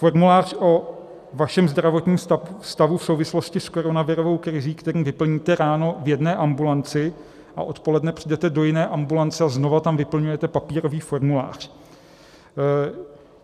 Formulář o vašem zdravotním stavu v souvislosti s koronavirovou krizí, který vyplníte ráno v jedné ambulanci a odpoledne přijdete do jiné ambulance a znova tam vyplňujete papírový formulář.